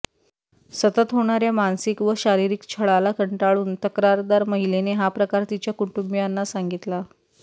सतत होणार्या मानसिक व शारीरिक छळाला कंटाळून तक्रारदार महिलेने हा प्रकार तिच्या कुटुंबियांना सांगितला